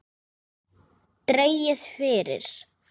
Dregið fyrir.